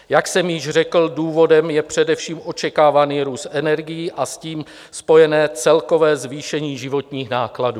Jak jsem již řekl, důvodem je především očekávaný růst energií a s tím spojené celkové zvýšení životních nákladů.